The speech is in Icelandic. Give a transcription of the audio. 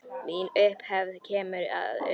Mín upphefð kemur að utan.